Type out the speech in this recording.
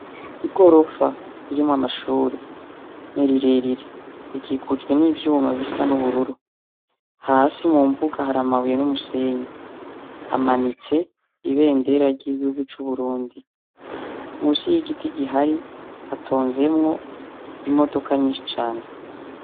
Igorofa ririmwo amashure nerirerire rikikujwe n'ivyoumuma bisa n'ubururu hasi mu mbuga hari amabuye n'umusenyi hamanitse ibe ndera ry'igigikurwe c'uburundi musi y'igiti gihari hatonzemwo imodoka nyinshi cane.